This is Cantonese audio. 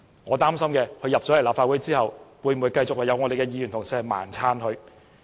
我擔心，他來到立法會後，會否繼續有議員“盲撐”他？